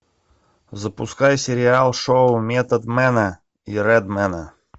запускай сериал шоу методмена и редмена